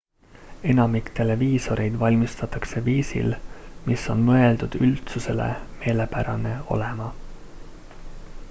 enamik televiisoreid valmistatakse viisil mis on mõeldud üldsusele meelepärane olema